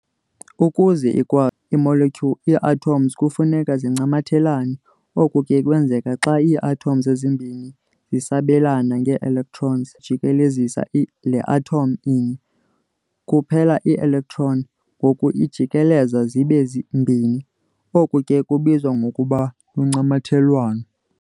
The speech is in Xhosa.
Ukuze ikwa i-molecule, ii-atoms kufuneka zincamathelane. oku ke kwenzeka xa ii-atoms ezimbini zisabelana ngee-electrons. Endaweni yokujikelezisa le atom inye kuphela, i-electron ngoku ijikeleza zibe mbini. oku ke kubizwa ngokuba luncamathelwano.